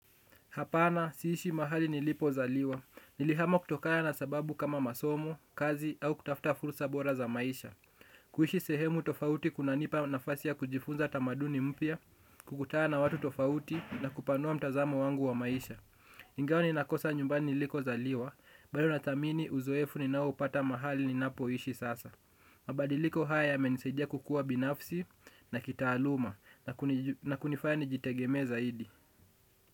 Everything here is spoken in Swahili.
Hapana, siishi mahali nilipozaliwa. Nilihama kutokana na sababu kama masomo, kazi au kutafuta fursa bora za maisha. Kuishi sehemu tofauti kunanipa nafasi ya kujifunza tamaduni mpya, kukutana na watu tofauti, na kupanua mtazamo wangu wa maisha. Ingawa ninakosa nyumbani nilikozaliwa, bado nathamini uzoefu ninaopata mahali ninapoishi sasa. Mabadiliko haya yamenisaidia kukua binafsi na kitaaluma, na kunifanya nijitegemee zaidi.